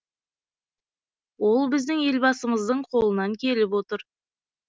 ол біздің елбасымыздың қолынан келіп отыр